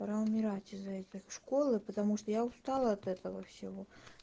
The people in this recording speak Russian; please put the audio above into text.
пора умирать из-за этих школы потому что я устала от этого всего